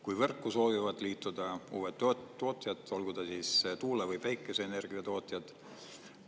Kui võrku soovivad liituda uued tootjad, olgu ta siis tuule- või päikeseenergiatootjad.